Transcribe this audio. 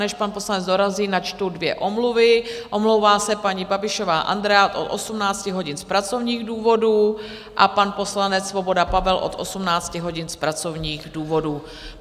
Než pan poslanec dorazí, načtu dvě omluvy: omlouvá se paní Babišová Andrea od 18 hodin z pracovních důvodů a pan poslanec Svoboda Pavel od 18 hodin z pracovních důvodů.